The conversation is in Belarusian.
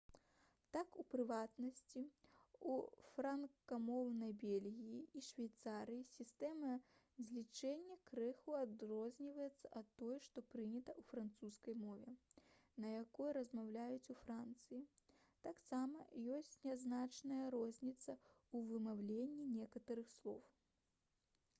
так у прыватнасці у франкамоўнай бельгіі і швейцарыі сістэма злічэння крыху адрозніваецца ад той што прынята ў французскай мове на якой размаўляюць у францыі таксама ёсць нязначная розніца ў вымаўленні некаторых слоў